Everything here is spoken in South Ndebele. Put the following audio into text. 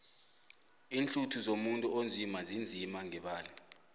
iinhluthu zomuntu onzima zinzima ngebala